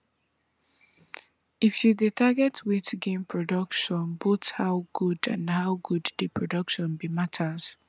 if you dey target weight gain productionboth how good and how good dey production be matters